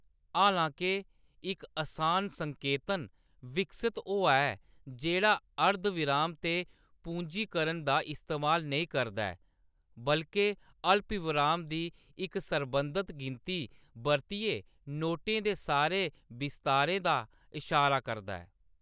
हालां-के, इक असान संकेतन विकसत होआ ऐ जेह्‌‌ड़ा अर्धविराम ते पूंजीकरण दा इस्तेमाल नेईं करदा ऐ, बल्के अल्पविराम दी इक सरबंधत गिनती बरतियै नोटें दे सारे विस्तारें दा इशारा करदा ऐ।